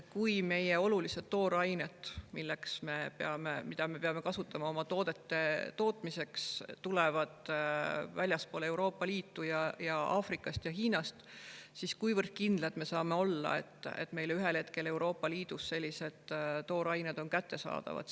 Kui olulised toorained, mida me kasutame oma toodete tootmiseks, tulevad väljastpoolt Euroopa Liitu, Aafrikast ja Hiinast, siis kui kindlad me saame olla, et meile Euroopa Liidus on sellised toorained igal hetkel kättesaadavad?